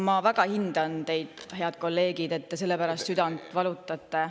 Ma väga hindan teid, head kolleegid, et te selle pärast südant valutate.